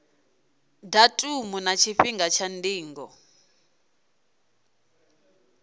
datumu na tshifhinga tsha ndingo